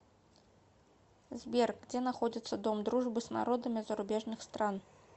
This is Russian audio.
сбер где находится дом дружбы с народами зарубежных стран